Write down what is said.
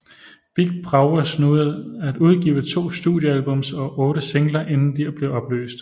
Big Brovaz nåede at udgive to studiealbums og otte singler inden de blev opløst